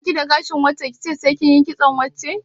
Ba ki da gashin wance ki ce sai kin yi kitson wance?